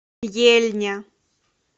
ельня